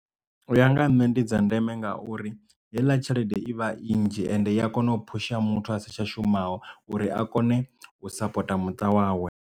U ya nga ha nṋe ndi dza ndeme ngauri heiḽa tshelede i vha i nnzhi ende i a kona u phusha muthu asi tsha shumaho uri a kone u sapota muṱa wawe.